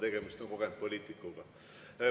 Tegemist on kogenud poliitikuga.